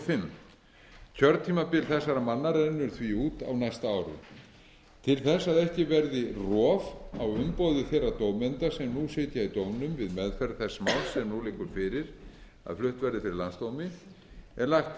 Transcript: fimm kjörtímabil þessara manna rennur því út á næsta ári til þess að ekki verði rof á umboði þeirra dómenda sem nú sitja í dómnum við meðferð þess máls sem nú liggur fyrir að flutt verði fyrir landsdómi er lagt